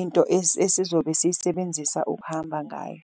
into esizobe siyisebenzisa ukuhamba ngayo.